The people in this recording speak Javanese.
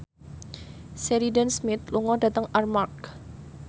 Sheridan Smith lunga dhateng Armargh